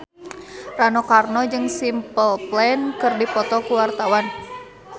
Rano Karno jeung Simple Plan keur dipoto ku wartawan